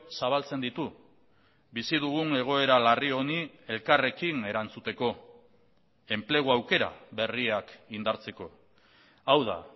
zabaltzen ditu bizi dugun egoera larri honi elkarrekin erantzuteko enplegu aukera berriak indartzeko hau da